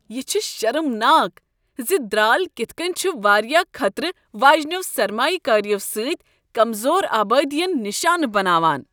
یہ چھ شرمناک ز درٛال کتھ کٔنۍ چھ وارِیاہ خطرٕ واجنٮ۪و سرمایہ کٲریو سۭتۍ کمزور آبٲدین نِشانہٕ بناوان۔